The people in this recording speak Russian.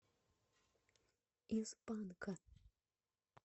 из панка